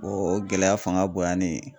O gɛlɛya fanga bonyannen